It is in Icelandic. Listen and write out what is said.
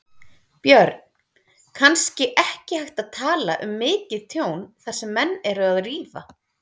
Björn: Kannski ekki hægt að tala um mikið tjón þar sem menn eru að rífa?